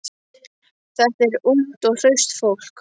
Þetta er ungt og hraust fólk.